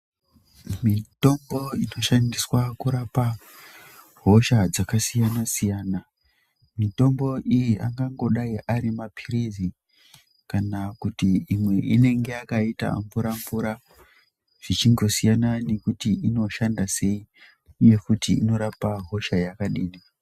Mitombo inoshandiswa kurapa hosha dzakasiyana siyana mitombo iyi angango dai ari mapilizi kana kuti imwe inenge yakaita mvura mvura zvichingosiyana inoshanda sei uye kuti inorapa hosha yakadini.